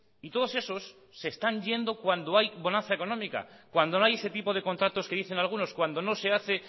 y todos esos se están yendo cuando hay bonanza económica cuando no hay ese tipo de contratos que dicen algunos cuando no se hace